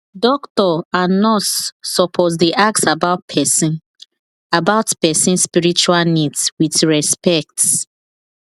doctor and nurse suppose dey ask about person about person spiritual needs with respect